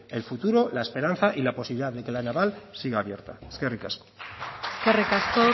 el futuro la esperanza y la posibilidad de que la naval siga abierta eskerrik asko eskerrik asko